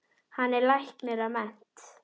Hann er læknir að mennt.